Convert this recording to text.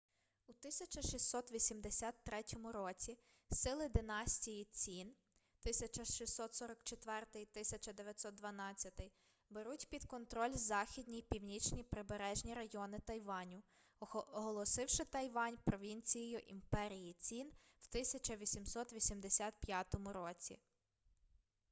у 1683 році сили династії цін 1644-1912 беруть під контроль західні й північні прибережні райони тайваню оголосивши тайвань провінцією імперії цін в 1885 році